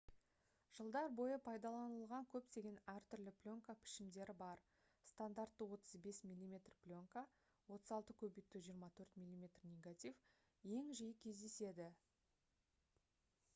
жылдар бойы пайдаланылған көптеген әртүрлі пленка пішімдері бар. стандартты 35 мм пленка 36 x 24 мм негатив ең жиі кездеседі